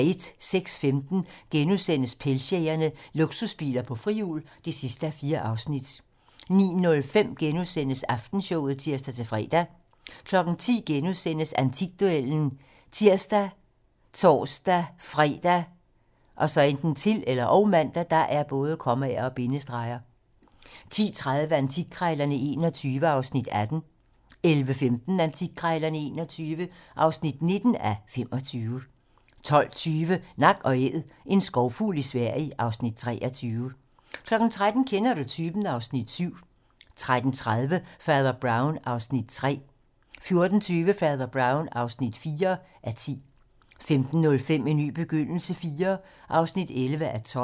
06:15: Pengejægerne - Luksusbiler på frihjul (4:4)* 09:05: Aftenshowet *(tir-fre) 10:00: Antikduellen *( tir, tor-fre, -man) 10:30: Antikkrejlerne XXI (18:25) 11:15: Antikkrejlerne XXI (19:25) 12:20: Nak & Æd - en skovfugl i Sverige (Afs. 23) 13:00: Kender du typen? (Afs. 7) 13:30: Fader Brown (3:10) 14:20: Fader Brown (4:10) 15:05: En ny begyndelse IV (11:12)